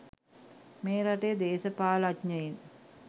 මේ රටේ දේශපාලනඥියින්